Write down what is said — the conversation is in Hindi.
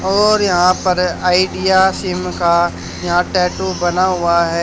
और यहां पर आइडिया सिम का यहां टैटू बना हुआ है।